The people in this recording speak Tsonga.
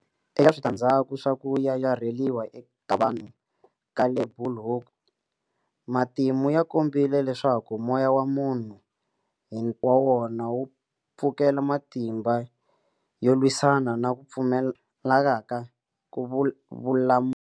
Eka switandzhaku swa ku yayarheriwa ka vanhu le Bulhoek- Matimu ya kombile leswaku moya wa munhu hi wa wona wu pfukela matimba yo lwisana na ku pfumaleka ka vulamuli.